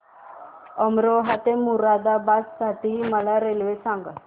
अमरोहा ते मुरादाबाद साठी मला रेल्वे सांगा